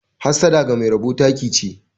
Hassada ga Mai rabo taki che.